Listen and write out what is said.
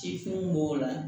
Cifɛnw b'o la